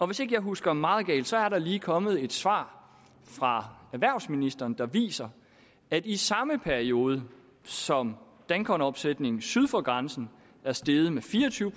hvis ikke jeg husker meget galt så er der lige kommet et svar fra erhvervsministeren der viser at i samme periode som dankortomsætningen syd for grænsen er steget med fire og tyve